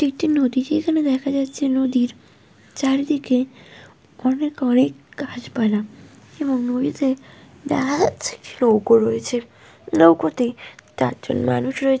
এটি একটি নদী। যেইখানে দেখা যাচ্ছে নদীর চারদিকে অনেক অনেক গাছ পালা এবং নদীতে দেখা যাচ্ছে একটি নৌকো রয়েছে। নৌকোতে চার জন মানুষ রয়ে --